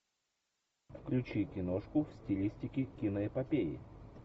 включи киношку в стилистике киноэпопеи